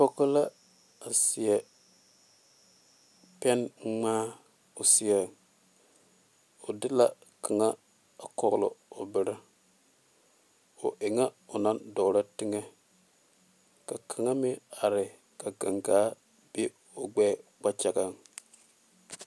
Pɔge la a seɛ pɛnŋmaa o seɛ o de la kaŋa a kɔgle o bere o e ŋa o naŋ dɔɔrɔ teŋɛ ka kaŋa meŋ are ka gangaa be o gbɛɛ kpakyagaŋ.